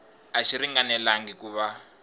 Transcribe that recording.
a xi ringanelangi ku va